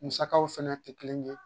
Musakaw fɛnɛ tɛ kelen ye